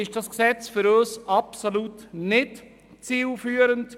Deshalb ist dieses Gesetz für uns absolut nicht zielführend.